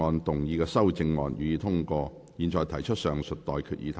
我現在向各位提出上述待決議題。